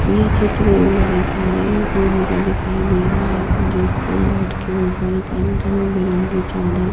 ये चित्र एक बड़ी सारे रूम का दिखाई दे रहा है जिसके बेट के ऊपर कंधं रंग बिरंगी चादर--